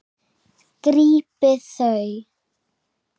Grípið þau!